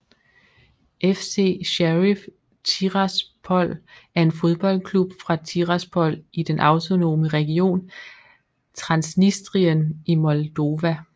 FC Sheriff Tiraspol er en fodboldklub fra Tiraspol i den autonome region Transnistrien i Moldova